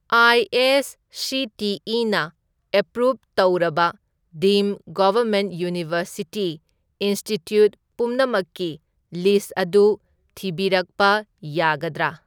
ꯑꯦ.ꯑꯥꯏ.ꯁꯤ.ꯇꯤ.ꯏ.ꯅ approve ꯇꯧꯔꯕ ꯗꯤꯝꯗ government university institute ꯄꯨꯝꯅꯃꯛꯀꯤ ꯂꯤꯁ꯭ꯠ ꯑꯗꯨ ꯊꯤꯕꯤꯔꯛꯄ ꯌꯥꯒꯗ꯭ꯔꯥ?